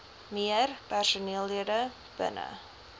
meer personeellede binne